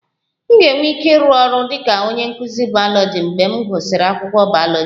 M ga-enwe ike ịrụ ọrụ dị ka onye nkụzi bayoloji mgbe m gụsịrị akwụkwọ bayoloji